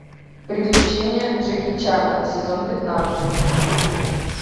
приключения джеки чана сезон пятнадцать